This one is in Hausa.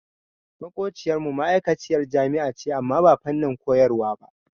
Maƙociyar mu ma'aikaciyar jami'a ce amma ba fannin koyarwa ba.